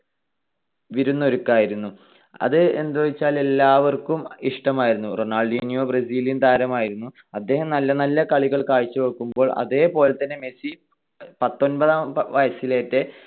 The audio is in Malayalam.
വിരുന്നൊരുക്കായിരുന്നു. അതെന്താന്നുവെച്ചാൽ എല്ലാവർക്കും ഇഷ്‌ടമായിരുന്നു. റൊണാൾഡീന്യോ ബ്രസീലിയൻ താരമായിരുന്നു. അദ്ദേഹം നല്ല നല്ല കളികൾ കാഴ്ച വെക്കുമ്പോൾ അതേപോലെതന്നെ മെസ്സി പത്തൊൻപതാം വയസ്സിലെ